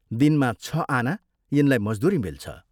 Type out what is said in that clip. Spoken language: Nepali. दिनमा छ आना यिनलाई मजदूरी मिल्छ।